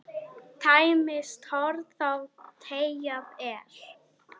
Tæmist horn þá teygað er.